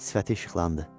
Sifəti işıqlandı.